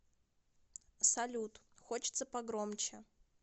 салют хочется погромче